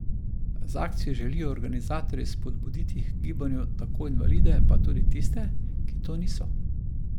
Z akcijo želijo organizatorji spodbuditi h gibanju tako invalide pa tudi tiste, ki to niso.